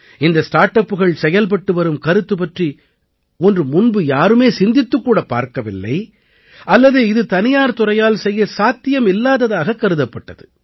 இந்த ஸ்டார்ட் அப்புகள் செயல்பட்டு வரும் கருத்து பற்றி ஒன்று முன்பு யாரும் சிந்தித்துக் கூட பார்க்கவில்லை அல்லது இது தனியார் துறையால் செய்ய சாத்தியமில்லாததாகக் கருதப்பட்டது